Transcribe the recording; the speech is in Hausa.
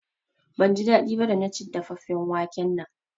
Ban ji daɗi ba da na ci dafaffen waken nan